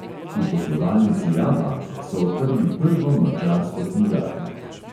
V poslovalnici abanke so odprli prvo madžarsko knjigarno.